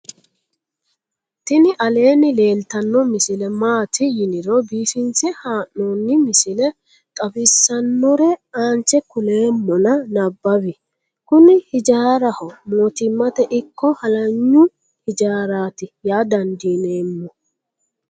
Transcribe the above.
tini aleenni leeltanno misile maati yiniro biifinse haa'noni misile xawisssannore aanche kuleemmona nabawi kuni hijaaraho mootummate ikko halanyu hijaarati yaa dandiinemmo